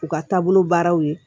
U ka taabolo baaraw ye